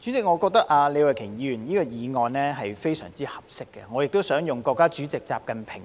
主席，我認為李慧琼議員的議案正合時宜，而我亦想用國家主席習近平